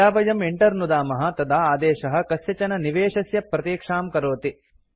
यदा वयं enter नुदामः तदा आदेशः कस्यचन निवेशस्य प्रतीक्षां करोति